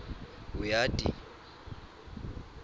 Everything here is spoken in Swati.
uyati